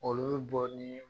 Olu bi bɔ nin